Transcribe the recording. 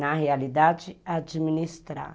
Na realidade, administrar.